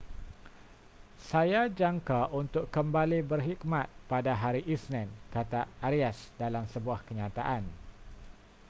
saya jangka untuk kembali berkhidmat pada hari isnin kata arias dalam sebuah kenyataan